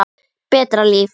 Betra líf.